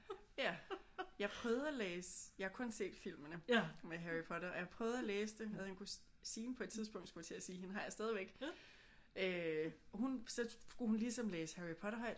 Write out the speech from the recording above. Ja. Jeg prøvede at læse jeg har kun set filmene med Harry Potter. Og jeg prøvede at læse det og havde en kusine på et tidspunkt skulle jeg til at sige. Hende har jeg stadigvæk øh og hun så skulle hun ligesom læse Harry Potter højt